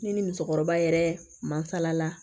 Ne ni musokɔrɔba yɛrɛ mansala